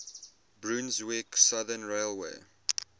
brunswick southern railway